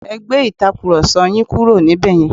Ẹ gbé Ìtàkùrọ̀sọ yín kúrò níbẹ̀ yẹn!